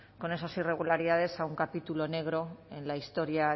con esas irregularidades a un capítulo negro en la historia